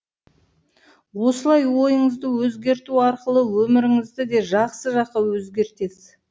осылай ойыңызды өзгерту арқылы өміріңізді де жақсы жаққа өзгертесіз